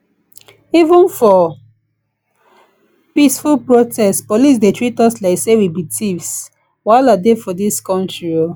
even for peaceful protest police dey treat us like say we be thieves wahala dey for dis country